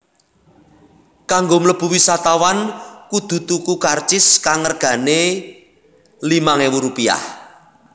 Kanggo mlebu wisatawan kudu tuku karcis kang regané Rp limang ewu